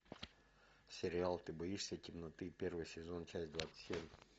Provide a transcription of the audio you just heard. сериал ты боишься темноты первый сезон часть двадцать семь